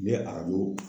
N bɛ arajo